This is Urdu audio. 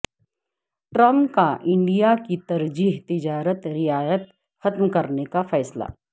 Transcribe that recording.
ٹرمپ کا انڈیا کی ترجیحی تجارتی رعایت ختم کرنے کا فیصلہ